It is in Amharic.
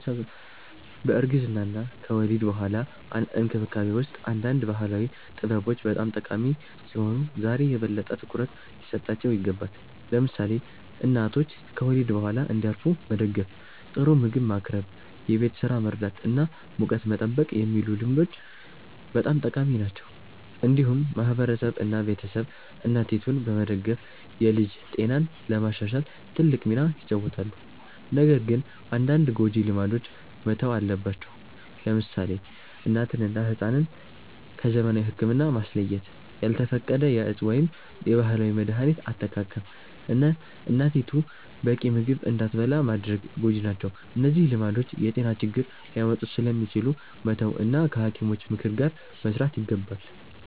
በእርግዝና እና ከወሊድ በኋላ እንክብካቤ ውስጥ አንዳንድ ባህላዊ ጥበቦች በጣም ጠቃሚ ሲሆኑ ዛሬ የበለጠ ትኩረት ሊሰጣቸው ይገባል። ለምሳሌ እናቶች ከወሊድ በኋላ እንዲያርፉ መደገፍ፣ ጥሩ ምግብ ማቅረብ፣ የቤት ስራ መርዳት እና ሙቀት መጠበቅ የሚሉ ልምዶች በጣም ጠቃሚ ናቸው። እንዲሁም ማህበረሰብ እና ቤተሰብ እናቲቱን በመደገፍ የልጅ ጤናን ለማሻሻል ትልቅ ሚና ይጫወታሉ። ነገር ግን አንዳንድ ጎጂ ልማዶች መተው አለባቸው። ለምሳሌ እናትን እና ሕፃንን ከዘመናዊ ሕክምና ማስለየት፣ ያልተፈቀደ የእፅ ወይም የባህላዊ መድሀኒት አጠቃቀም፣ እና እናቲቱ በቂ ምግብ እንዳትበላ ማድረግ ጎጂ ናቸው። እነዚህ ልማዶች የጤና ችግር ሊያመጡ ስለሚችሉ መተው እና ከሐኪሞች ምክር ጋር መስራት ይገባል።